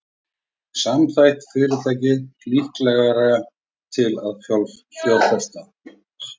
Samþætt fyrirtæki líklegra til að fjárfesta